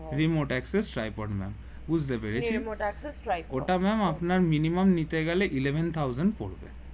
remote access tripod ma'am বুঝতে পেরেছি ওটা ম্যাম আপনার minimum নিতে গেলে Eleven thousand পরবে